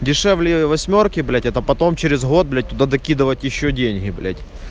дешевле восьмёрки блять это потом через год блять туда докидывать ещё деньги блять